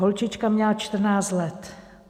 Holčička měla 14 let.